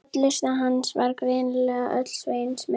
Hollusta hans var greinilega öll Sveins megin.